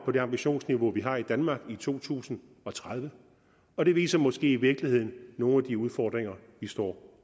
på det ambitionsniveau vi har i danmark i to tusind og tredive og det viser måske i virkeligheden nogle af de udfordringer vi står